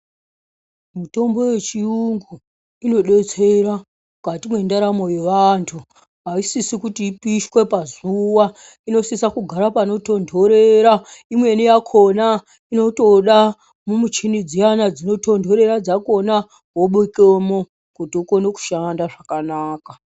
Mutombo yechiyungu inodetsera mukati mwendaramo yevantu. Ayisisi kuti ipishwe pazuwa, inosisa kugara panotontorera. Imweni yakona imotode mumuchini dziya dzinotondorera dzakona wobekemwo kuti unoke kushanda zvakanaka.